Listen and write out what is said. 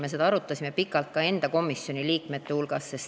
Me arutasime seda pikalt ka oma komisjoni liikmete hulgas.